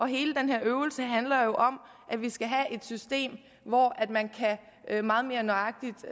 hele den her øvelse handler jo om at vi skal have et system hvor man meget mere nøjagtigt